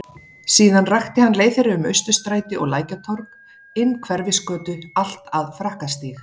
Síðan rakti hann leið þeirra um Austurstræti og Lækjartorg, inn Hverfisgötu allt að Frakkastíg.